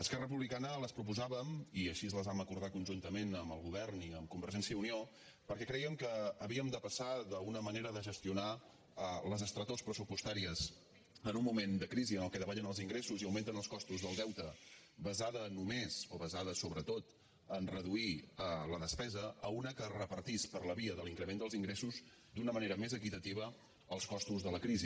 esquerra republicana les proposàvem i així les vam acordar conjuntament amb el govern i amb convergència i unió perquè crèiem que havíem de passar d’una manera de gestionar les estretors pressupostàries en un moment de crisi en el qual davallen els ingressos i augmenten els costos del deute basada només o basada sobretot a reduir la despesa a una que repartís per la via de l’increment dels ingressos d’una manera més equitativa els costos de la crisi